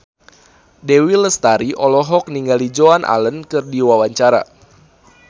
Dewi Lestari olohok ningali Joan Allen keur diwawancara